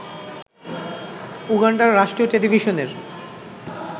উগান্ডার রাষ্ট্রীয় টেলিভিশনের